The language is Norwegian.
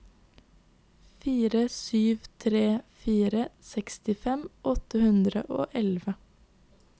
fire sju tre fire sekstifem åtte hundre og elleve